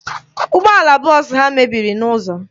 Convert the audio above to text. Ụgbọala bọọsụ ha mebiri n'ụzọ.